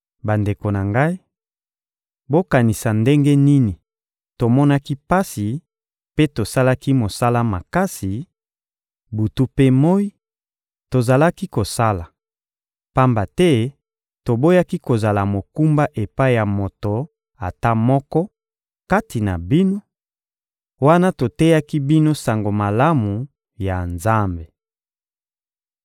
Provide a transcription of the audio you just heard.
Bandeko na ngai, bokanisa ndenge nini tomonaki pasi mpe tosalaki mosala makasi; butu mpe moyi, tozalaki kosala, pamba te toboyaki kozala mokumba epai ya moto ata moko kati na bino, wana toteyaki bino Sango Malamu ya Nzambe.